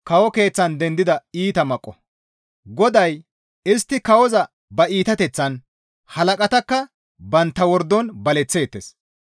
GODAY, «Istti kawoza ba iitateththan halaqatakka bantta wordon baleththeettes.